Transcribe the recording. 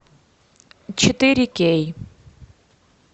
четыре кей